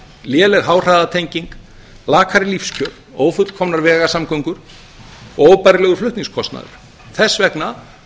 léleg háhraðatenging lakari lífskjör ófullkomnar vegasamgöngur og óbærilegur flutningskostnaður þess vegna